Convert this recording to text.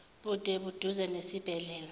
bude buduze nesibhedlela